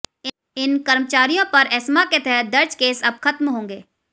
इन कर्मचारियों पर एस्मा के तहत दर्ज केस अब खत्म होंगे